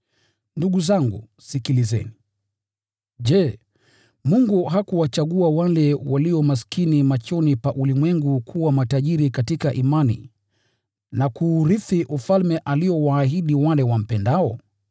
Ndugu zangu, sikilizeni: Je, Mungu hakuwachagua wale walio maskini machoni pa ulimwengu kuwa matajiri katika imani na kuurithi Ufalme aliowaahidi wale wampendao?